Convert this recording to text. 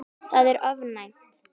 Það er ofmælt.